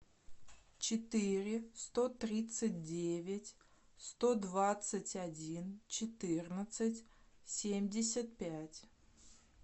четыре сто тридцать девять сто двадцать один четырнадцать семьдесят пять